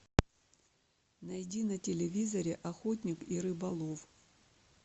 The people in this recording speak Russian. найди на телевизоре охотник и рыболов